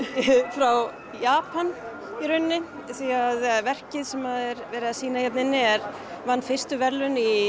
frá Japan í rauninni því verkið sem er verið að sýna vann fyrstu verðlaun í